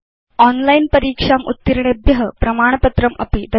online परीक्षाम् उत्तीर्णेभ्य प्रमाणपत्रमपि ददाति